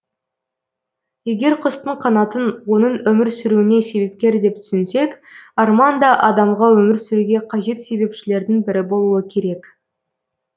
егер құстың қанатын оның өмір сүруіне себепкер деп түсінсек арман да адамға өмір сүруге қажет себепшілердің бірі болуы керек